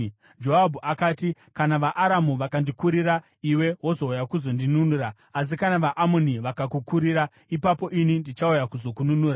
Joabhu akati, “Kana vaAramu vakandikurira iwe wozouya kuzondinunura; asi kana vaAmoni vakakukurira ipapo ini ndichauya kuzokununura.